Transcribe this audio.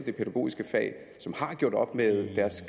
det pædagogiske fag og som har gjort op med deres